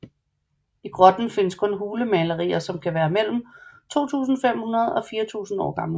I grotten findes hulemalerier som kan være mellem 2500 og 4000 år gamle